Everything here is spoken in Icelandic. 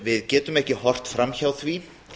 við getum ekki horft fram hjá því